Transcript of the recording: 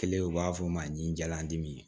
Kelen u b'a fɔ o ma ɲi jalandimin